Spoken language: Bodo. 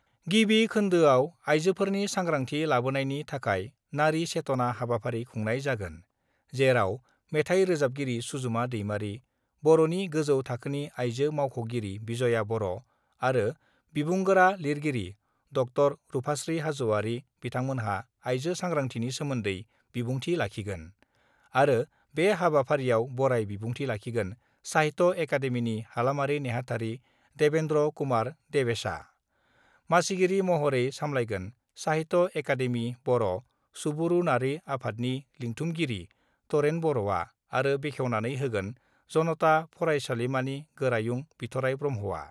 गिबि खोन्दोयाव आइजोफोरनि सांग्रांथि लाबोनायनि थाखाय 'नारी चेतना' हाबाफारि खुंनाय जागोन, जेराव मेथाइ रोजाबगिरि सुजुमा दैमारि बर'नि गोजौ थाखोनि आइजो मावख'गिरि बिजया बर' आरो बिबुंगोरा - लिरगिरि ड० रुफास्त्रि हाज'वारि बिथांमोनहा आइजो सांग्रांथिनि सोमोन्दै बिबुंथि लाखिगोन आरो बे हाबाफारियाव बराय बिबुंथि लाखिगोन साहित्य' एकाडेमिनि हालामारि नेहाथारि देबेन्द्र कुमार देबेशआ, मासिगिरि महरै सामलायगोन साहित्य एकाडेमि बर' सुबुरुनारि आफादनि लिंथुमगिरि तरेन बर'आ आरो बेखेवनानै होगोन जनता फरायसालिमानि गोरायुं बिथ'राइ ब्रह्मआ।